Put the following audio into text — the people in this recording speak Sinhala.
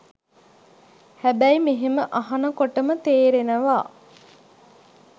හැබැයි මෙහෙම අහනකොටම තේරෙනවා